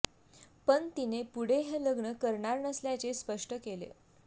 पण तिने पुढे हे लग्न करणार नसल्याचे स्पष्ट केले